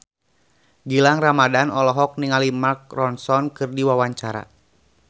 Gilang Ramadan olohok ningali Mark Ronson keur diwawancara